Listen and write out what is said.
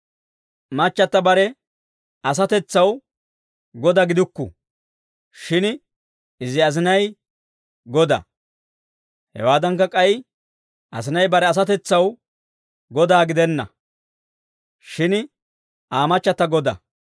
Machchata bare asatetsaw goda gidukku; shin izi asinay goda. Hawaadankka, k'ay asinay bare asatetsaw godaa gidenna; shin Aa machchata goda.